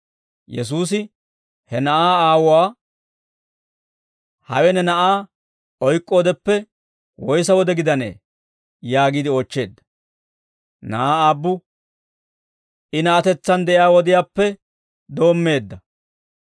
Yesuusi he na'aa aawuwaa, «Hawe ne na'aa oyk'k'oodeppe woyssa wode gidanee?» yaagiide oochcheedda. Na'aa aabbu, «I na'atetsaan de'iyaa wodiyaappe doommeedda.